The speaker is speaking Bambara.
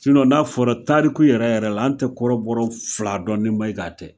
n'a fɔra tariku yɛrɛ yɛrɛ la an tɛ kɔrɔbɔ fila dɔn ni Maiga tɛ.